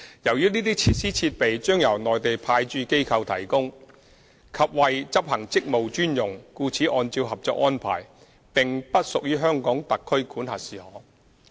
由於這些設施設備將由內地派駐機構提供及為執行職務專用，故此按照《合作安排》並不屬於香港特區管轄事項。